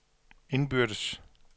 indbyrdes